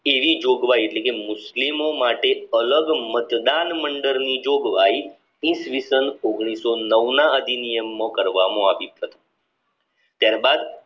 તેવી જોગવાઈ એટલે કે મુસ્લિમો માટે અલગ મતદાન મંડપ ની જોગવાઈ ઈ. સ. ઓગણીસો નવના અધિનિયમ માં કરવામાં આવી ત્યારબાદ